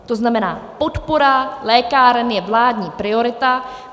To znamená, podpora lékáren je vládní priorita.